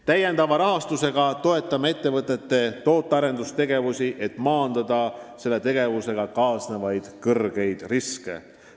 Täiendava rahastusega toetame ettevõtete tootearendustegevust, et maandada sellega kaasnevaid suuri riske.